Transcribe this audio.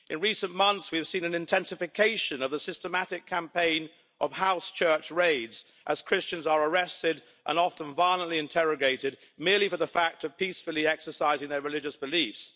In recent months, we have seen an intensification of the systematic campaign of house church raids as Christians are arrested, and often violently interrogated, merely for the fact of peacefully exercising their religious beliefs.